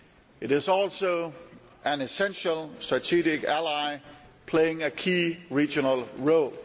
It is also an essential strategic ally, playing a key regional role.